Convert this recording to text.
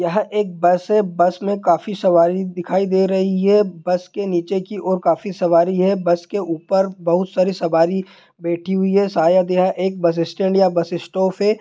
यह एक बस है बस में काफी सवारी दिखाई दे रही हैं| बस के नीचे की ओर काफी सवारी हैं| बस के ऊपर बहुत सारी सवारी बैठी हुई हैं शायद यह एक बस स्टैन्ड या बस स्टॉप है।